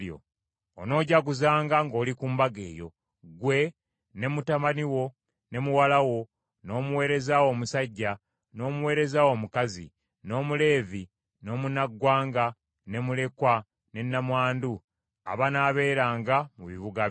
Onoojaguzanga ng’oli ku Mbaga eyo, ggwe, ne mutabani wo, ne muwala wo, n’omuweereza wo omusajja, n’omuweereza wo omukazi, n’Omuleevi, n’omunnaggwanga, ne mulekwa, ne nnamwandu, abanaabeeranga mu bibuga byo.